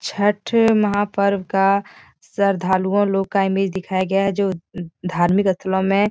छठ महापर्व का श्रद्धालुओं लोग का इमेज दिखाया गया है जो धार्मिक स्थलों में --